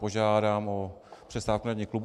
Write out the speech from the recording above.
Požádám o přestávku na jednání klubu.